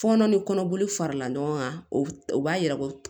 Fɔɔnɔ ni kɔnɔboli farala ɲɔgɔn kan o o b'a yira ko